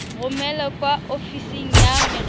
romele kwa ofising ya merero